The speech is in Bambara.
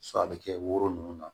a bɛ kɛ woro nunnu na